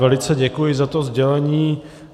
Velice děkuji za to sdělení.